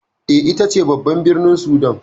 E, ita ce babban birnin Sudan.